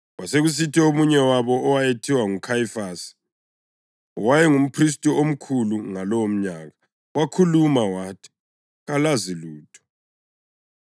Kwasekusithi omunye wabo owayethiwa nguKhayifasi, owayengumphristi omkhulu ngalowomnyaka, wakhuluma wathi, “Kalazi lutho!